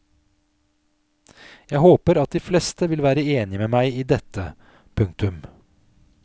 Jeg håper at de fleste vil være enige med meg i dette. punktum